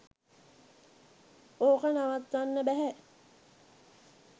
ඕක නවත්තන්න බැහැ.